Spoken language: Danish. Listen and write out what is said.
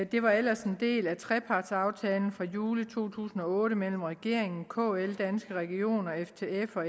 det var ellers en del af trepartsaftalen fra juli to tusind og otte mellem regeringen kl danske regioner ftf og